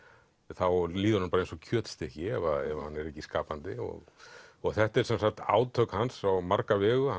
þá líður honum bara eins og kjötstykki ef hann er ekki skapandi þetta eru sem sagt átök hans á marga vegu